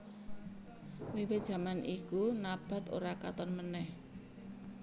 Wiwit jaman iku Nabath ora katon meneh